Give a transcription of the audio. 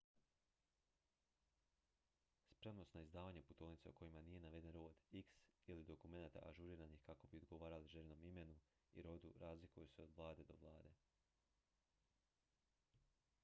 spremnost na izdavanje putovnica u kojima nije naveden rod x ili dokumenata ažuriranih kako bi odgovarali željenom imenu i rodu razlikuje se od vlade do vlade